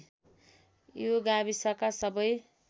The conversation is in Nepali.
यो गाविसका सबै